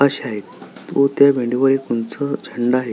व त्या भिंती वर एक उंच झेंडा आहे.